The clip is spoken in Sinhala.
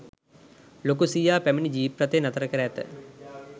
ලොකු සීයා පැමිණි ජීප්රථය නතර කර ඇත.